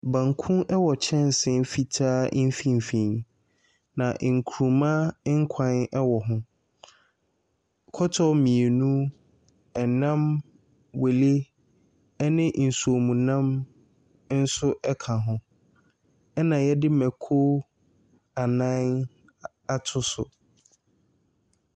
Banku ɛwɔ kyɛnse fitaa mfimfini, na nkruma nkwan ɛwɔ ho, kɔtɔ mmienu, ɛnam, wele, nsuomunam nso ɛka ho, na yɛde mako nnan ato so.